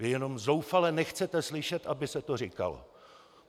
Vy jenom zoufale nechcete slyšet, aby se to říkalo.